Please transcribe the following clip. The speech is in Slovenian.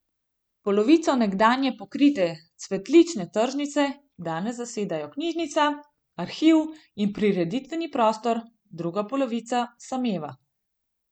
Polovico nekdanje pokrite cvetlične tržnice danes zasedajo knjižnica, arhiv in prireditveni prostori, druga polovica sameva.